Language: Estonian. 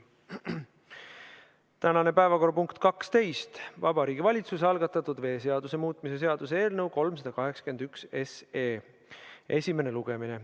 Tänane päevakorrapunkt nr 12 on Vabariigi Valitsuse algatatud veeseaduse muutmise seaduse eelnõu 381 esimene lugemine.